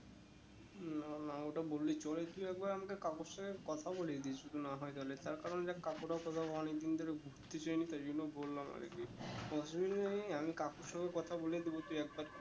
না না ওটা বললে চলে তুই একবার আমাকে কাকুর সাথে কথা বলিয়ে দিস না হয়ে তা হলে তার কারণ দেখ কাকুরা তোরা অনেক দিন ধরে কিছু হয়ে নি তো তাই জন্য বললাম আর কি অসুবিধে নেই আমি কাকুর সাথে কথা বলে দেব তুই একবার